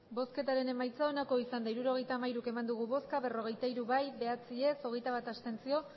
hirurogeita hamairu eman dugu bozka berrogeita hiru bai bederatzi ez hogeita bat abstentzio